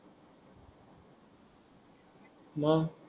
मग